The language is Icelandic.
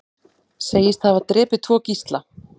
Segist hafa drepið tvo gísla